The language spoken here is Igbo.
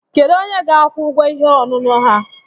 Kedu onye ga-akwụ ụgwọ ihe ọṅụṅụ ha?